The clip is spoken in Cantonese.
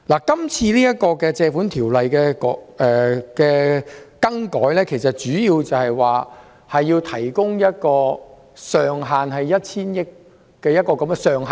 這項根據《借款條例》提出的擬議決議案，旨在提供一個 1,000 億元的上限。